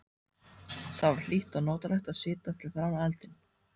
Það var hlýtt og notalegt að sitja fyrir framan eldinn.